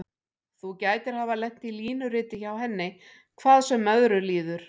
Þú gætir hafa lent í línuriti hjá henni, hvað sem öðru líður.